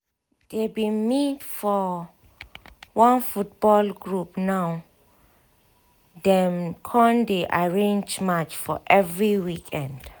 dey bin meet for one football group now dem con dey arrange match for every weekend